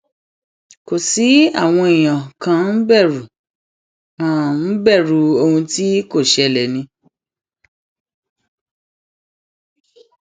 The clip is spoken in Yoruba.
kò sí àwọn èèyàn kàn ń bẹrù[um] ń bẹrù ohun tí kò ṣẹlẹ ni